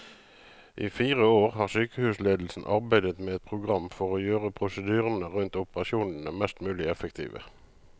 I fire år har sykehusledelsen arbeidet med et program for å gjøre prosedyrene rundt operasjonene mest mulig effektive.